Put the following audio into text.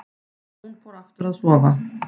Hún fór aftur að sofa.